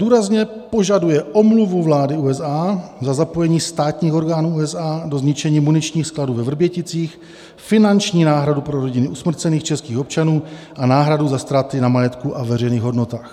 Důrazně považuje omluvu vlády USA za zapojení státních orgánů USA do zničení muničních skladů ve Vrběticích, finanční náhradu pro rodiny usmrcených českých občanů a náhradu za ztráty na majetku a veřejných hodnotách.